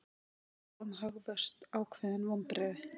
Spá um hagvöxt ákveðin vonbrigði